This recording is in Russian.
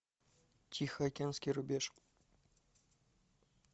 тихоокеанский рубеж